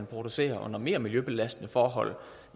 produceres under mere miljøbelastende forhold